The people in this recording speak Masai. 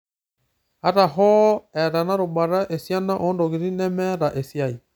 Ata hoo, eeta ena rubata esiana oontokiting' nemeeta esiai.